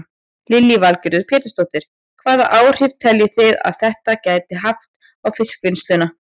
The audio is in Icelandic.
Lillý Valgerður Pétursdóttir: Hvaða áhrif telji þið að þetta geti haft á fiskvinnsluna?